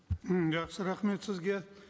м жақсы рахмет сізге